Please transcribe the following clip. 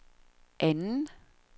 anden